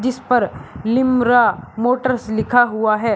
इस पर लिम्रा मोटर्स लिखा हुआ है।